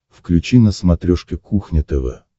включи на смотрешке кухня тв